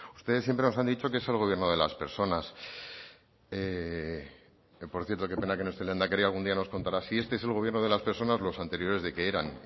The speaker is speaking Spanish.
ustedes siempre nos han dicho que es el gobierno de las personas que por cierto qué pena que no esté el lehendakari algún día nos contará si este es el gobierno de las personas los anteriores de qué eran